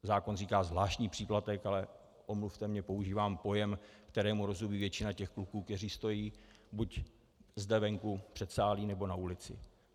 Zákon říká zvláštní příplatek, ale omluvte mě, používám pojem, kterému rozumí většina těch kluků, kteří stojí buď zde venku, v předsálí, nebo na ulici.